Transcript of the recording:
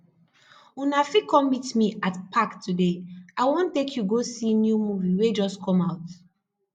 una fit come meet me at park today i wan take you go see new movie wey just come out